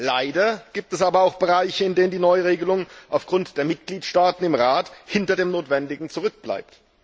Leider gibt es aber auch Bereiche, in denen die Neuregelung wegen der Mitgliedstaaten im Rat hinter dem Notwendigen zurückbleibt.